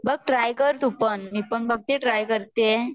बघ ट्राय कर तू पण मी पण बघतिए आहे ट्राय करतिए